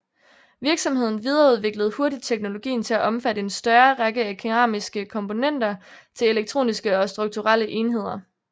Virksomheden videreudviklede hurtigt teknologien til at omfatte en større række af keramiske komponenter til elektroniske og strukturelle enheder